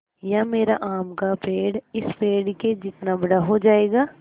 या मेरा आम का पेड़ इस पेड़ के जितना बड़ा हो जायेगा